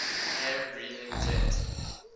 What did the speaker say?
air breathing jet